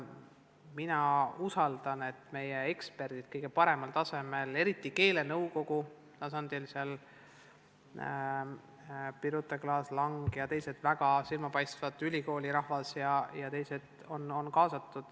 Mina usun, et meie eksperdid on kõige paremal tasemel, eriti keelenõukogus, kuhu kuuluvad Birute Klaas-Lang ja ka teised väga silmapaistvad spetsialistid ülikoolist.